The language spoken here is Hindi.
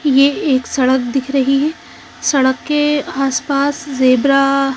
ये एक सड़क दिख रही है सड़क के आस पास ज़ेबरा --